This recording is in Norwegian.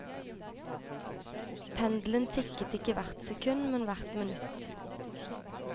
Pendelen tikket ikke hvert sekund, men hvert minutt.